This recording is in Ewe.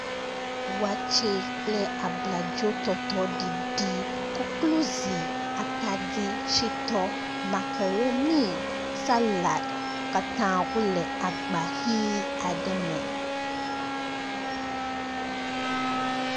Waatse kple abladzo tɔtɔ ɖiɖi, koklozi, makaroni, salad wo katã wole agba hi aɖe me